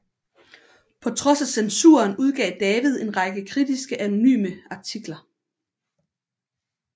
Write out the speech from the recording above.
På trods af censuren udgav David en række kritiske anonyme artikler